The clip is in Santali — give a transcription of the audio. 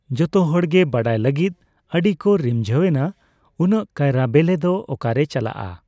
ᱡᱚᱛᱚ ᱦᱚᱲ ᱜᱮ ᱵᱟᱰᱟᱭᱟ ᱞᱟᱜᱤᱛ ᱟ.ᱰᱤ ᱠᱚ ᱨᱤᱢᱡᱷᱟ.ᱣ ᱮᱱᱟ᱾ᱩᱱᱟᱹᱜ ᱠᱟᱭᱨᱟ ᱵᱮᱞᱮ ᱫᱚ ᱚᱠᱟᱨᱮ ᱪᱟᱞᱟᱜ ᱟ?